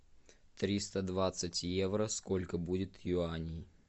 триста двадцать евро сколько будет юаней